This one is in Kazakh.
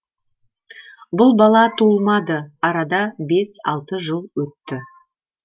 бұл бала туылмады арада бес алты жыл өтті